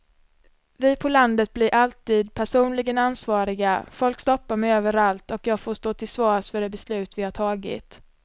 Vi på landet blir alltid personligen ansvariga, folk stoppar mig överallt och jag får stå till svars för de beslut vi har tagit.